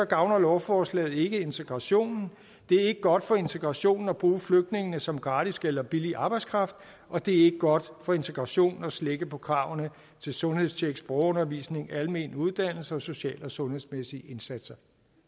gavner lovforslaget ikke integrationen det er ikke godt for integrationen at bruge flygtningene som gratis eller billig arbejdskraft og det er ikke godt for integrationen at slække på kravene til sundhedstjek sprogundervisning almen uddannelse og social og sundhedsmæssige indsatser